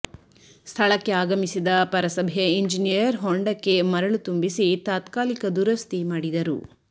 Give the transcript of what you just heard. ಸ್ಥಳಕ್ಕೆ ಆಗಮಿಸಿದ ಪರಸಭೆಯ ಇಂಜಿನಿಯರ್ ಹೊಂಡಕ್ಕೆ ಮರಳು ತುಂಬಿಸಿ ತಾತ್ಕಾಲಿಕ ದುರಸ್ತಿ ಮಾಡಿದರು